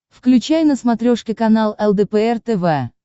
включай на смотрешке канал лдпр тв